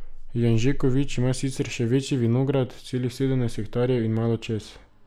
Janžekovič ima sicer še večji vinograd, celih sedemnajst hektarjev in malo čez.